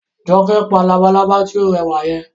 Jọkẹ́ pa labalábá tí ó rẹwà yẹn